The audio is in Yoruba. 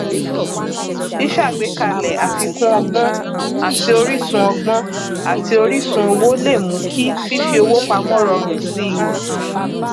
ṣíṣàgbékalẹ àfikún ọgbọn àti oríṣun ọgbọn àti oríṣun owó lè mú kí fífowópamọ rọrùn sí i